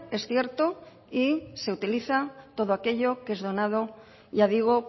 es cierto y se utiliza todo aquello que es donado ya digo